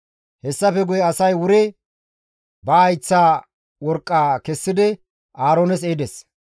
Hessafe guye asay wuri ba hayththa worqqaa kessidi Aaroones ehides.